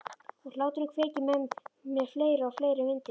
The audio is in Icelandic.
Og hláturinn kveikir með mér fleiri og fleiri myndir.